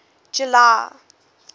july